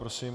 Prosím.